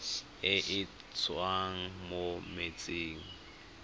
e e tswang mo metsing